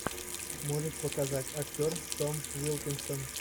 можешь показать актер том уилкинсон